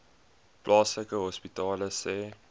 plaaslike hospitale sê